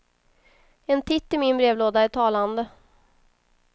En titt i min brevlåda är talande.